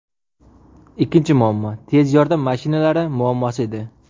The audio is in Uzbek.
Ikkinchi muammo – tez yordam mashinalari muammosi edi.